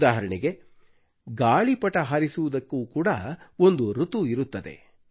ಉದಾಹರಣೆಗೆ ಗಾಳಿಪಟ ಹಾರಿಸುವುದಕ್ಕೆ ಕೂಡ ಒಂದು ಋತು ಇರುತ್ತದೆ